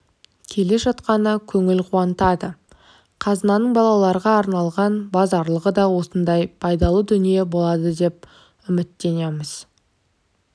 келе жатқаны көңіл қуантады қазынаның балаларға арналған базарлығы да осындай пайдалы дүние болады деп үміттенеміз